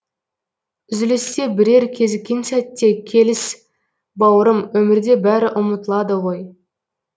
үзілісте бірер кезіккен сәтте келіс бауырым өмірде бәрі ұмытылады ғой